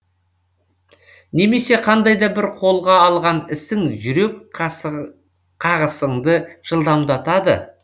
немесе қандай да бір қолға алған ісің жүрек қағысыңды жылдамдатады